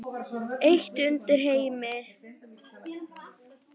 Heitt undir Heimi?